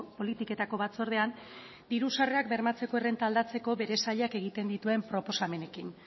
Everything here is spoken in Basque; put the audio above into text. politiketako batzordean diru sarrerak bermatzeko errenta aldatzeko bere sailak egiten dituen proposamenekin